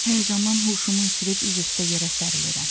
Həyəcandan huşumu itirib üzüstə yerə sərilirəm.